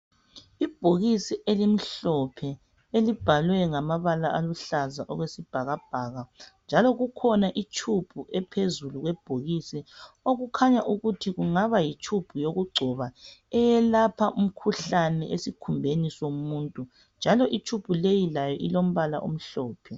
ibhokisi elimhlophe elibhalwe ngamabala aluhlaza okwesibhakabhaka njalo kukhona itshubhu okuphezulu kwebhokisi okukhanya ukuthi kungaba yitshubhu yokuchoba eyelapha imikhuhlane esikhumbeni somuntu njalo itshubhu leyi layo ilompala omhlophe